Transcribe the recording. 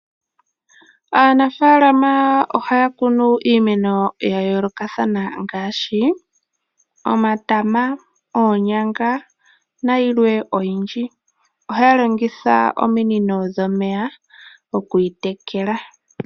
Aanafaalama ohaya kunu iimeno ya yoolokathana ngaashi omatama, oonyanga na yilwe oyindji . Ohaya longitha ominino dhomeya okuyi tekela